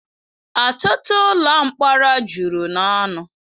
ọtụtụ ụlọ mkpọrọ juru n'ọnụ